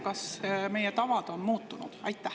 Kas meie tavad on muutunud?